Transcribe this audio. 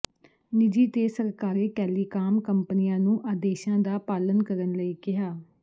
ਨਿਜੀ ਤੇ ਸਰਕਾਰੀ ਟੈਲੀਕਾਮ ਕੰਪਨੀਆਂ ਨੂੰ ਆਦੇਸ਼ਾਂ ਦਾ ਪਾਲਨ ਕਰਨ ਲਈ ਕਿਹਾ